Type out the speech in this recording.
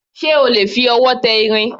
Ṣé o lè fi ọwọ́ tẹ irin?